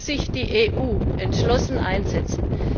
Hier muss sich die EU entschlossen einsetzen!